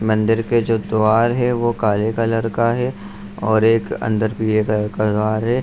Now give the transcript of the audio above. मंदिर के जो द्वार है वो काले कलर का है और एक अंदर पीले कलर का द्वार है।